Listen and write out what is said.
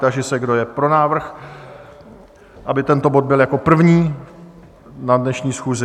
Táži se, kdo je pro návrh, aby tento bod byl jako první na dnešní schůzi?